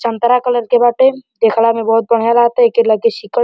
संतरा कलर के बाटे। देखला मे बहुत बढ़िया लागता। एके लगे सीकर --